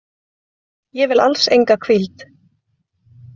Ég vil alls enga hvíld.